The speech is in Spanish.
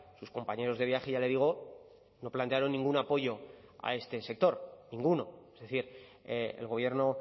sus compañeros de viaje ya le digo no plantearon ningún apoyo a este sector ninguno es decir el gobierno